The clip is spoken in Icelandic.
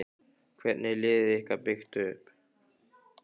Hvernig er liðið ykkar byggt upp?